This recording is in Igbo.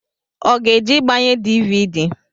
Ọ ga eje igbanye dịvịdị?